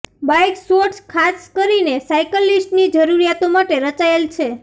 bike shorts ખાસ કરીને સાઇકલિસ્ટની જરૂરિયાતો માટે રચાયેલ છે